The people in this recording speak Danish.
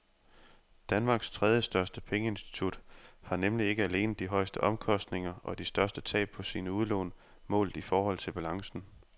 Danmarks tredjestørste pengeinstitut har nemlig ikke alene de højeste omkostninger og de største tab på sine udlån målt i forhold til balancen.